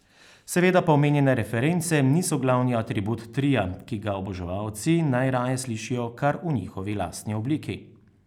Seveda pa omenjene reference niso glavni atribut tria, ki ga oboževalci najraje slišijo kar v njihovi lastni obliki.